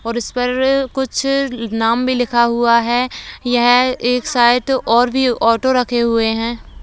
और इस पर कुछ नाम भी लिखा हुआ है| यह एक साइड और भी ऑटो रखे हुए हैं।